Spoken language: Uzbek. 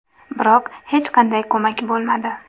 Biroq hech qanday ko‘mak bo‘lmadi.